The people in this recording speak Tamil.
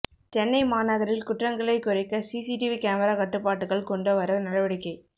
சென்னை மாநகரில் குற்றங்களைக் குறைக்க சிசிடிவி கேமரா கட்டுப்பாட்டுக்குள் கொண்ட வர நடவடிக்கை